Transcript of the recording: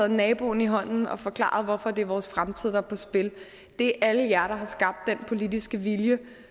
naboen i hånden og forklaret hvorfor det er vores fremtid der er på spil det er alle jer der har skabt den politiske vilje